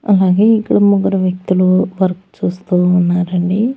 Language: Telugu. అలాగే ఇక్కడ ముగ్గురు వ్యక్తులు వర్క్ చూస్తూ ఉన్నారండి.